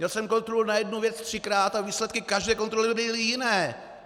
Měl jsem kontrolu na jednu věc třikrát a výsledky každé kontroly byly jiné.